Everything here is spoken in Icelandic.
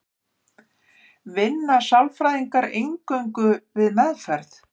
vinna sálfræðingar eingöngu við meðferð